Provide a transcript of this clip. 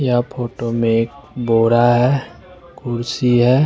या फोटो में बोड़ा है कुर्सी है।